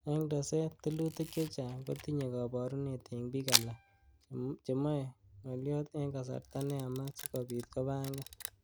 En teset, tilutik che chang kotinye koborunet en bik alak, chemoe ngolyot en kasarta neyamat sikobiit kobangan.